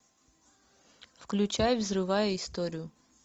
включай взрывая историю